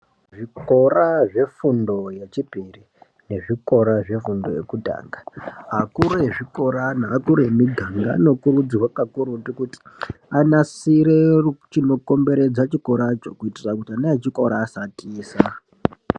Zvikora zvefundo yechipiri nezvikora zve fundo yekutanga akuru ezvikora nea kuru emiganga anokurudzirwa ka kururutu kuti anasire chino komberedza chikoracho kuitira kuti ana echikora asa tiza.